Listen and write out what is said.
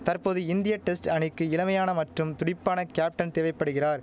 தற்போது இந்திய டெஸ்ட் அணிக்கு இளமையான மற்றும் துடிப்பான கேப்டன் தேவைப்படுகிறார்